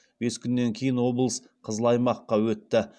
бес күннен кейін облыс қызыл аймаққа өтті